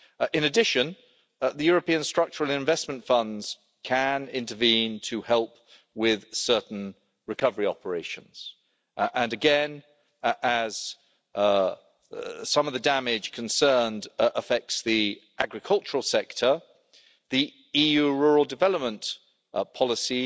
In addition, the European Structural and Investment Funds can intervene to help with certain recovery operations, and again, as some of the damage concerned affects the agricultural sector, the EU Rural Development Policy